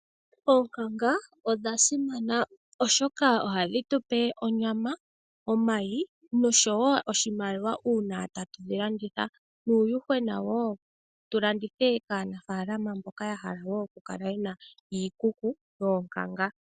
Oonkanga odha simana oshoka ohadhi tupe onyama, omayi nosho woo oshimaliwa uuna tatu dhilanditha nuuyuhwena woo tulandithe kaanafaalama mboka yahala woo okukala yena iikuku yOonkanga.